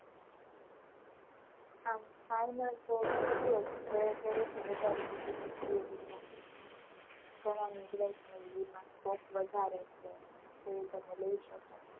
આમ final તો BCA જ છે. ઘરે થી બધા એ કીધું BCA લ્યો એમ. scope વધારે છે એમ તો એ તમે લઈ શકો.